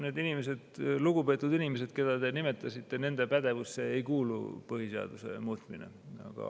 Need on lugupeetud inimesed, keda te nimetasite, aga nende pädevusse ei kuulu põhiseaduse muutmine.